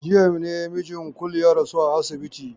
Jiya ne mijin Kulu ya rasu a asibiti.